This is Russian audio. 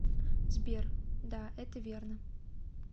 сбер да это верно